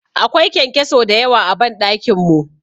Akwai kyankyaso dayawa a ban dakin mu.